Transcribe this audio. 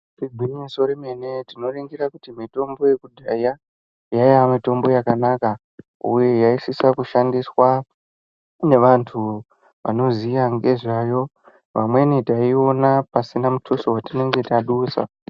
Igwinyiso remene tinoningira kuti mitombo yekudhaya yaiya mitombo yakanaka uye yaisisa kushandiswa nevantu vanoziya nezvayo vamweni taiiona pasina mutuso waduswa.